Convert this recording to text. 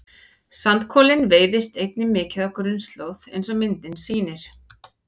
sandkolinn veiðist einnig mikið á grunnslóð eins og myndin sýnir